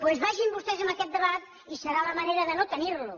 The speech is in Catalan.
doncs vagin vostès amb aquest debat i serà la manera de no tenir lo